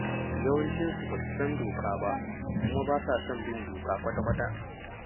Yawancinsu ba su san doka ba, kuma ba sa son bin doka kwata-kwata.